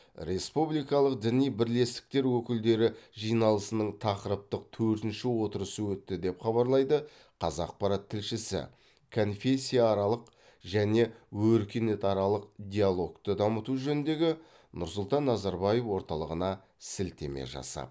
республикалық діни бірлестіктер өкілдері жиналысының тақырыптық төртінші отырысы өтті деп хабарлайды қазақпарат тілшісі конфессияаралық және өркениетаралық диалогты дамыту жөніндегі нұрсұлтан назарбаев орталығына сілтеме жасап